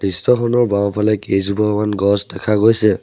দৃশ্যখনৰ বাওঁফালে কেইজোপামান গছ দেখা গৈছে।